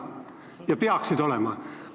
Ja peaksidki olema.